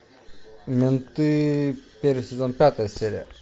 менты первый сезон пятая серия